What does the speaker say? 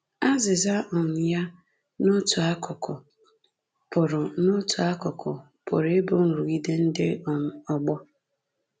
Azịza um ya, n’otu akụkụ, pụrụ n’otu akụkụ, pụrụ ịbụ nrụgide ndị um ọgbọ